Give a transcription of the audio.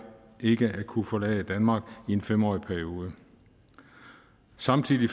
ikke at kunne forlade danmark i en femårig periode samtidig